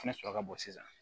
Fɛnɛ sɔrɔ ka bon sisan